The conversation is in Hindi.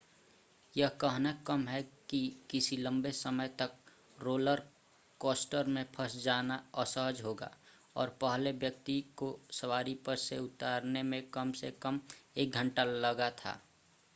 यह कहना कम है कि किसी लंबे समय तक रोलर कॉस्टर में फंस जाना असहज होगा और पहले व्यक्ति को सवारी पर से उतारने में कम से कम एक घंटा लगा था